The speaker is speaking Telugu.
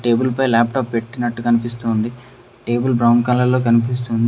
టేబుల్ పై లాప్టాప్ పెట్టినట్టు కనిపిస్తోంది టేబుల్ బ్రౌన్ కలర్లో కనిపిస్తుంది.